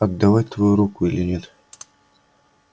отдавать твою руку или нет